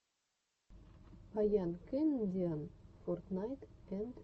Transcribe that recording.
баян кэнедиан фортнайт энд мор